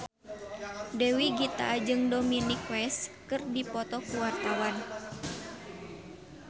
Dewi Gita jeung Dominic West keur dipoto ku wartawan